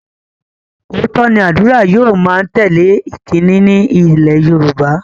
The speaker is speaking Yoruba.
Óòtọ́ ni ádùrá yóò má ń tẹ́lè ìkíni ní ilé Yorùbá